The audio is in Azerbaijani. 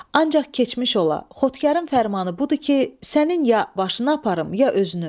Ancaq keçmiş ola, Xotkarın fərmanı budur ki, sənin ya başını aparım, ya özünü.